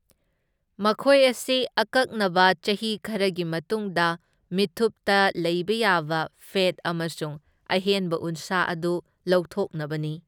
ꯃꯈꯣꯏ ꯑꯁꯤ ꯑꯀꯛꯅꯕ ꯆꯍꯤ ꯈꯔꯒꯤ ꯃꯇꯨꯡꯗ ꯃꯤꯠꯊꯨꯞꯇ ꯂꯩꯕ ꯌꯥꯕ ꯐꯦꯠ ꯑꯃꯁꯨꯡ ꯑꯍꯦꯟꯕ ꯎꯟꯁꯥ ꯑꯗꯨ ꯂꯧꯊꯣꯛꯅꯕꯅꯤ꯫